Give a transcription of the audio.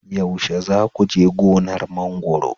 yaushe za ku je gonar mangwaro